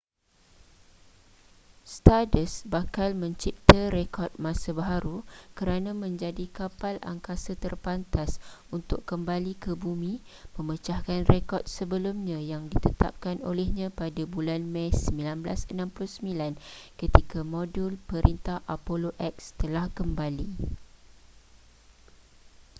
stardust bakal mencipta rekod masa baharu kerana menjadi kapal angkasa terpantas untuk kembali ke bumi memecahkan rekod sebelumnya yang ditetapkan olehnya pada bulan mei 1969 ketika modul perintah apollo x telah kembali